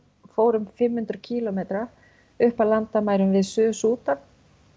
fór um fimm hundruð kílómetra upp að landamærum Suður Súdan